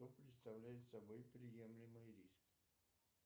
что представляет собой приемлемый риск